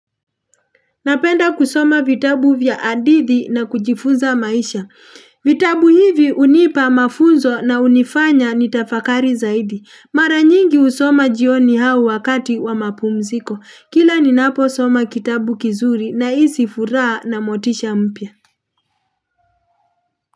Napenda kusoma vitabu vya hadithi na kujifunza maisha. Vitabu hivi hunipa mafuzo na hunifanya nitafakari zaidi. Mara nyingi husoma jioni au wakati wa mapumziko. Kila ninaposoma kitabu kizuri nahisi furaha na motisha mpya.